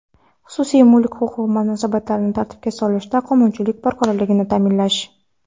xususiy mulk huquqi munosabatlarini tartibga solishda qonunchilik barqarorligini ta’minlash;.